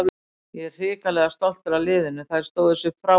Ég er hrikalega stoltur af liðinu, þær stóðu sig frábærlega.